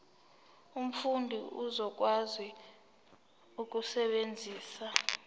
umfundi uzokwazi ukusebenzisa